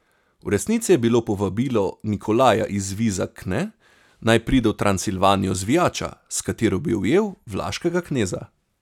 V resnici je bilo povabilo Nikolaja iz Vizakne, naj pridejo v Transilvanijo, zvijača, s katero bi ujel vlaškega kneza.